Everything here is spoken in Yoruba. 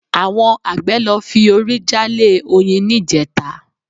Àwọn àgbẹ̀ lọ fi orí jálé oyin níjẹta